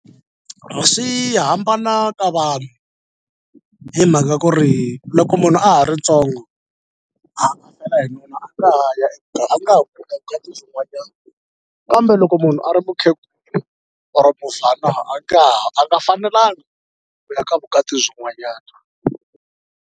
Swi hambana ka vanhu hi mhaka ku ri loko munhu a ha ri ntsongo a a fela hi nuna a nga ha ya a nga ha kuma vukati byin'wanyana kambe loko munhu a ri mukhegula or mubvana a nga ha a nga fanelangi ku ya ka vukati byin'wanyana.